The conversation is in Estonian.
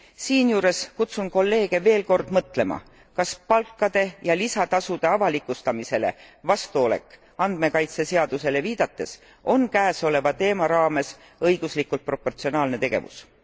Siinjuures kutsun kolleege veel kord mõtlema, kas palkade ja lisatasude avalikustamisele vastuolek andmekaitseseadusele viidates on käesoleva teema raames õiguslikult proportsionaalne tegevus.